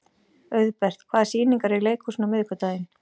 Auðbert, hvaða sýningar eru í leikhúsinu á miðvikudaginn?